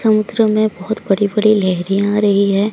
समुद्रों मे बहोत बड़ी बड़ी लहरे आ रही है।